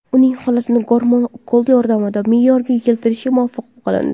Uning holatini gormon ukoli yordamida me’yorga keltirishga muvaffaq bo‘lindi.